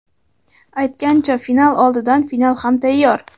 Aytgancha, final oldidan final ham tayyor.